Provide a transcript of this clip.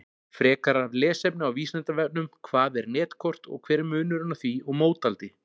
Frekara lesefni á Vísindavefnum Hvað er netkort og hver er munurinn á því og mótaldi?